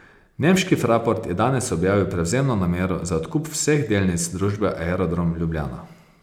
Nemški Fraport je danes objavil prevzemno namero za odkup vseh delnic družbe Aerodrom Ljubljana.